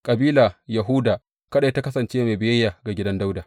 Kabila Yahuda kaɗai ta kasance mai biyayya ga gidan Dawuda.